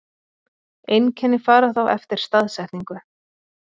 Einkenni fara þá eftir staðsetningu.